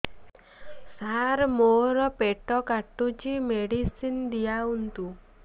ସାର ମୋର ପେଟ କାଟୁଚି ମେଡିସିନ ଦିଆଉନ୍ତୁ